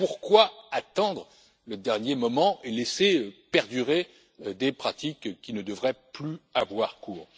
Pourquoi attendre le dernier moment et laisser perdurer des pratiques qui ne devraient plus avoir cours?